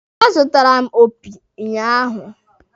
A zụtara m opi ụnyaahụ.